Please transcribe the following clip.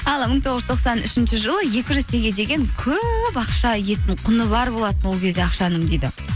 ал мың тоғыз жүз тоқсан үшінші жылы екі жүз теңге деген көп ақша құны бар болатын ол кезде ақшаның дейді